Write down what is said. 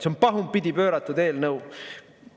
See on pahupidi pööratud eelnõu.